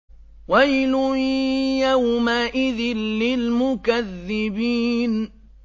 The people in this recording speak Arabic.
وَيْلٌ يَوْمَئِذٍ لِّلْمُكَذِّبِينَ